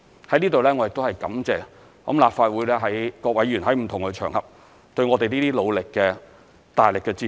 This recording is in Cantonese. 在此我感謝立法會各位議員在不同場合對我們努力的大力支持。